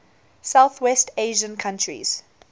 southwest asian countries